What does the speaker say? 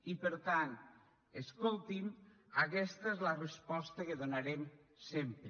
i per tant escoltin aquesta és la resposta que donarem sempre